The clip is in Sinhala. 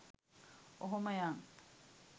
ඔහොම යන්.